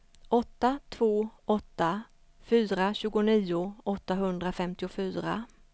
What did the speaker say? åtta två åtta fyra tjugonio åttahundrafemtiofyra